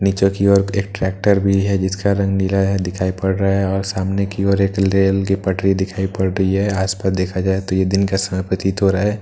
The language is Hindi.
नीचे की ओर एक ट्रैक्टर भी है जिसका रंग नीला है दिखाई पड़ रहा है और सामने की ओर एक लेल की पटरी दिखाई पड़ रही है आसपास देखा जाए तो यह दिन का समय प्रतीत हो रहा है पीछे की ।